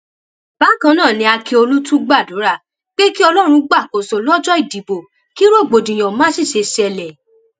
bákan náà ni ákíọlù tún gbàdúrà pé kí ọlọrun gbàkóso lọjọ ìdìbò kí rògbòdìyàn má sì ṣe ṣẹlẹ